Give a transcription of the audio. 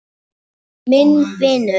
Minn vinur.